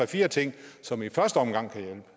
fire ting som i første omgang kan